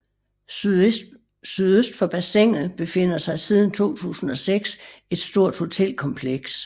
Sydøst for bassinet befinder sig siden 2006 et stort hotelkompleks